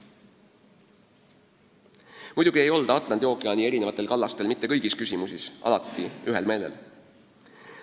Muidugi ei olda Atlandi ookeani eri kallastel mitte kõigis küsimusis alati ühel meelel.